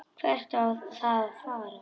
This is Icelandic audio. Hvert á að fara?